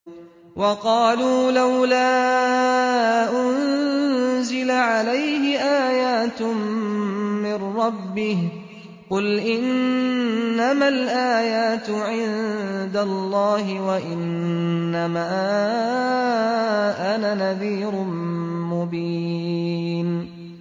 وَقَالُوا لَوْلَا أُنزِلَ عَلَيْهِ آيَاتٌ مِّن رَّبِّهِ ۖ قُلْ إِنَّمَا الْآيَاتُ عِندَ اللَّهِ وَإِنَّمَا أَنَا نَذِيرٌ مُّبِينٌ